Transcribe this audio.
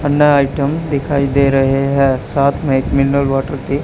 अन्ना item दिखाई दे रहे है साथ में एक मिनरल वाटर की--